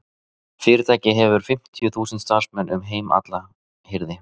Fyrirtækið hefur fimmtíu þúsund starfsmenn um heim allan heyrði